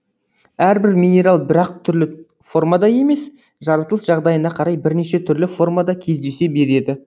әрбір минерал бір ақ түрлі формада емес жаратылыс жағдайына қарай бірнеше түрлі формада кездесе береді